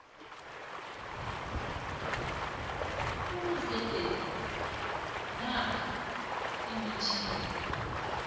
ebuzendeni namkha imitjhini